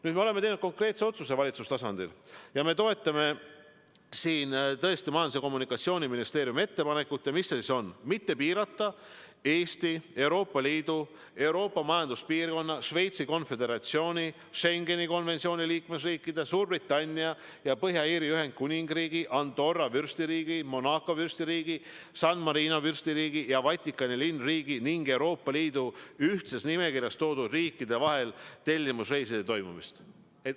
Nüüd, me oleme teinud valitsuse tasandil konkreetse otsuse ning toetame Majandus- ja Kommunikatsiooniministeeriumi ettepanekut mitte piirata Eesti, Euroopa Liidu, Euroopa Majanduspiirkonna, Šveitsi Konföderatsiooni, Schengeni konventsiooni liikmesriikide, Suurbritannia ja Põhja-Iiri Ühendkuningriigi, Andorra Vürstiriigi, Monaco Vürstiriigi, San Marino Vürstiriigi ja Vatikani Linnriigi ning Euroopa Liidu ühtses nimekirjas loetletud riikide vahel tellimusreiside toimumist.